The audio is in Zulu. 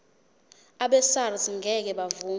abesars ngeke bavuma